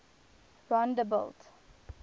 rondebult